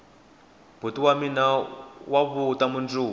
boti wa mina wa vuta mundzuku